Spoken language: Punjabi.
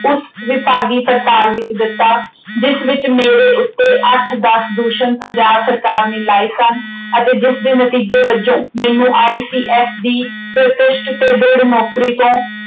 ਉਸ ਵਿਭਾਗੀ ਕਿਤਾਬ ਵਿੱਚ ਦਿੱਤਾ, ਜਿਸ ਵਿੱਚ ਮੇਰੇ ਉੱਤੇ ਅੱਠ ਦੱਸ ਦੂਸ਼ਣ ਪੰਜਾਬ ਸਰਕਾਰ ਨੇ ਲਾਏ ਸਨ ਅਤੇ ਜਿਸਦੇ ਨਤੀਜੇ ਵਜੋਂ ਮੈਨੂੰ ICS ਦੀ ਪ੍ਰਤਿਸ਼ਟ ਤੇ ਦ੍ਰਿੜ ਨੌਕਰੀ ਤੋਂ